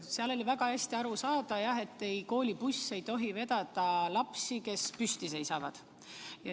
Sellest oli väga hästi aru saada, et koolibuss ei tohi vedada lapsi, kes püsti seisavad.